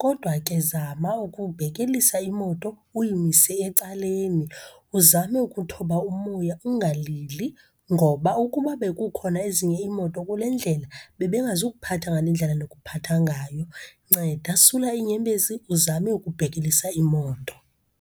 Kodwa ke zama ukubhekelisa imoto, uyimise ecaleni. Uzame ukuthoba umoya, ungalili ngoba ukuba bekukhona ezinye imoto kule ndlela, bebengazukuphatha ngale ndlela ndikuphatha ngayo. Nceda, sula iinyembezi uzame ubhekelisa imoto.